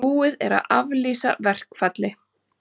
Búið er að aflýsa verkfalli